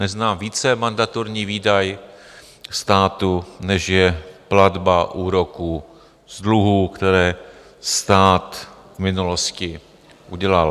Neznám více mandatorní výdaj státu, než je platba úroků z dluhů, které stát v minulosti udělal.